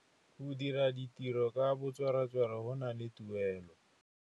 Go dira ditirô ka botswerere go na le tuelô.